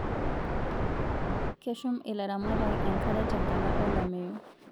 Keshum ilaramatak enkare tenkata olameyu